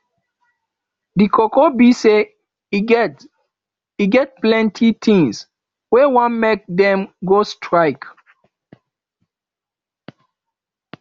di koko be say e get e get plenty tins wey wan make dem go strike